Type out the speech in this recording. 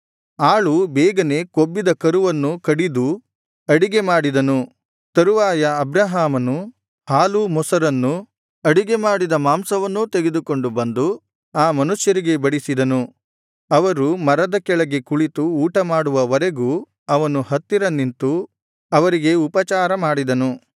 ಆಳು ಬೇಗನೆ ಕೊಬ್ಬಿದ ಕರುವನ್ನು ಕಡಿದು ಅಡಿಗೆ ಮಾಡಿದನು ತರುವಾಯ ಅಬ್ರಹಾಮನು ಹಾಲು ಮೊಸರನ್ನೂ ಅಡಿಗೆ ಮಾಡಿದ ಮಾಂಸವನ್ನೂ ತೆಗೆದುಕೊಂಡು ಬಂದು ಆ ಮನುಷ್ಯರಿಗೆ ಬಡಿಸಿದನು ಅವರು ಮರದ ಕೆಳಗೆ ಕುಳಿತು ಊಟ ಮಾಡುವವರೆಗೂ ಅವನು ಹತ್ತಿರ ನಿಂತು ಅವರಿಗೆ ಉಪಚಾರ ಮಾಡಿದನು